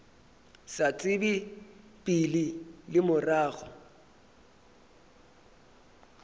sa tsebe pele le morago